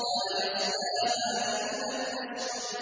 لَا يَصْلَاهَا إِلَّا الْأَشْقَى